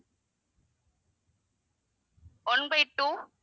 one by two